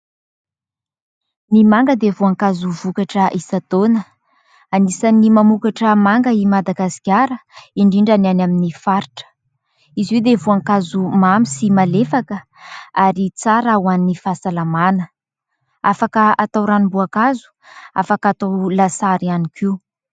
Ny manga dia voankazo vokatra isan-taona ; anisan'ny mamokatra manga i Madagasikara indrindra ny any amin'ny faritra. Izy io dia voankazo mamy sy malefaka ary tsara ho an'ny fahasalamana. Afaka hatao ranom-boankazo, afaka hatao lasary ihany koa.